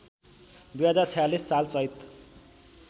२०४६ साल चैत